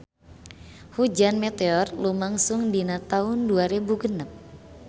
Hujan meteor lumangsung dina taun dua rebu genep